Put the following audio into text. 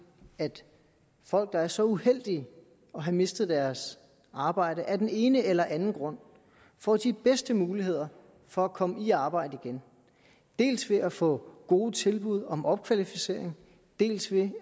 at folk der er så uheldige at have mistet deres arbejde af den ene eller den anden grund får de bedste muligheder for at komme i arbejde igen dels ved at få gode tilbud om opkvalificering dels ved